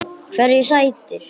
Hverju sætir?